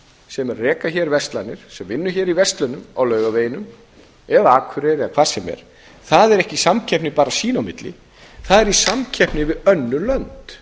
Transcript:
sem er að reka hér verslanir sem vinnur í verslunum á laugaveginum eða akureyri eða hvar sem er það er ekki í samkeppni bara sín á milli það er í samkeppni við önnur lönd